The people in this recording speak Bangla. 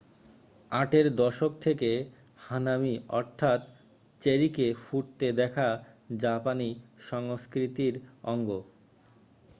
আটের দশক থেকে হানামি অর্থাৎ চেরিকে ফুটতে দেখা জাপানি সংস্কৃতির অঙ্গ